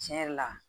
Tiɲɛ yɛrɛ la